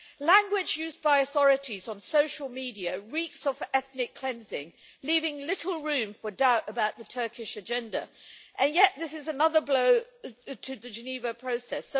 Language used by authorities on social media reeks of ethnic cleansing, leaving little room for doubt about the Turkish agenda, and this is yet another blow to the Geneva process.